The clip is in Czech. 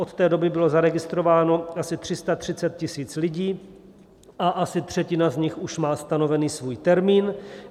Od té doby bylo zaregistrováno asi 330 000 lidí a asi třetina z nich už má stanovený svůj termín.